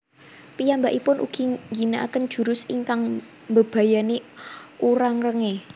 Piyambakipun ugi ngginakaken jurus ingkang mbebayani Urarenge